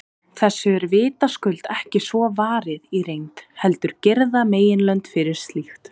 Þessu er vitaskuld ekki svo varið í reynd, heldur girða meginlönd fyrir slíkt.